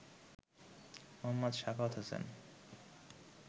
Md. Sakhawat Hossain